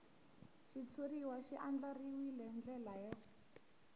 xitshuriwa xi andlariwil ndlela yo